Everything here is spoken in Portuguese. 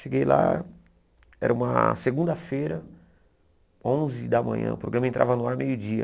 Cheguei lá, era uma segunda-feira, onze da manhã, o programa entrava no ar meio-dia.